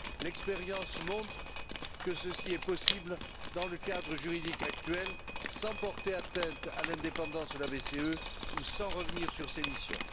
L'expérience montre que ceci est possible dans le cadre juridique actuel sans porter atteinte à l'indépendance de la BCE ou sans revenir sur ses missions.